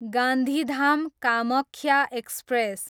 Gandhidham, Kamakhya express